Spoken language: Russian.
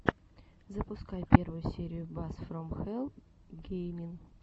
запускай первую серию бас фром хэлл геймин